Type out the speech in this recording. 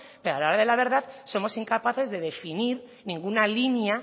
pero a la hora de la verdad somos incapaces de definir ninguna línea